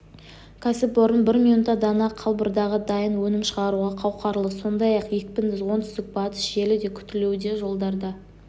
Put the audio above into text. кәсіпорын бір минутта дана қалбырдағы дайын өнім шығаруға қауқарлы сондай-ақ екпінді оңтүстік-батыс желі де күтілуде жолдарда